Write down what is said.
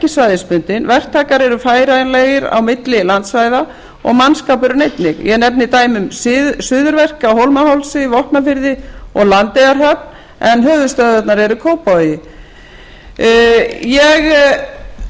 svæðisbundin verktakar eru færanlegir á milli landsvæða og mannskapurinn einnig ég nefni dæmi um suðurverk á hólmahálsi vopnafirði og landeyjahöfn en höfuðstöðvarnar eru í kópavogi ég